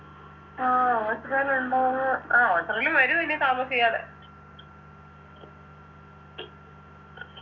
ആ എത്രകാല ഇണ്ടോന്ന് ആ ഓച്ചറയിലും വരും ഇനി താമസിയാതെ